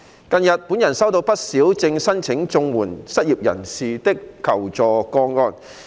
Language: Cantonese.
近日，本人收到不少正申請綜援失業人士的求助個案。